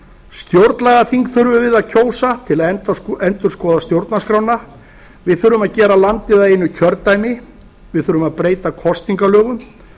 stjórnlagaþing þurfum við að kjósa til að endurskoða stjórnarskrána við þurfum að gera landið að einu kjördæmi við þurfum að breyta kosningalögum